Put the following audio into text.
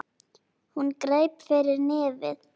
Hún greip fyrir nefið.